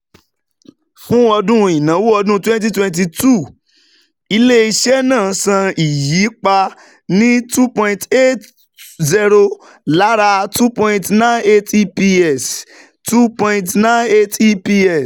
fún ọdún ìnáwó ọdún twenty twenty two, ilé-iṣẹ́ náà san ìyapa ní N two point eight zero lára N two point nine eight EPS. N two point nine eight EPS.